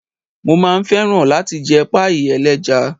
Mo máa fẹ́ láti jẹ páíì ẹlẹ́ja.